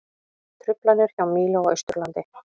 Truflanir hjá Mílu á Austurlandi